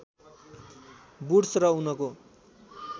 Wood's र उनको